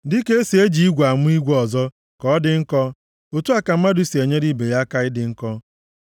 Dịka e si eji igwe amụ igwe ọzọ ka ọ dị nkọ, otu a ka mmadụ si enyere ibe ya aka ịdị nkọ.